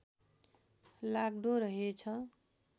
लाग्दो रहेछ